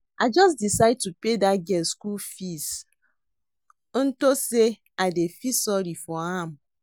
I just decide to pay dat girl school fees unto say I dey feel sorry for am